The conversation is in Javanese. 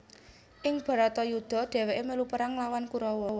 Ing Bharatayuddha dheweke melu perang nglawan Kurawa